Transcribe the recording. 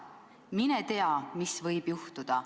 Mine tea, mis võib juhtuda.